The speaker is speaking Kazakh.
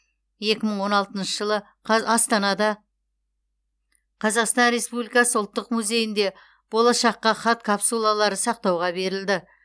екі мың он алтыншы жылы астанада қазақстан республикасы ұлттық музейінде болашаққа хат капсулалары сақтауға берілді